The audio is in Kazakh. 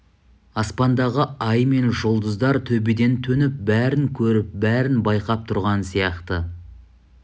аспандағы ай мен жұлдыздар төбеден төніп бәрін көріп бәрін байқап тұрған сияқты